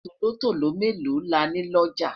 tòlótòló melo là ní looja?